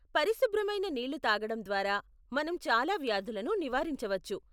పరిశుభ్రమైన నీళ్లు తాగడం ద్వారా, మనం చాలా వ్యాధులను నివారించవచ్చు.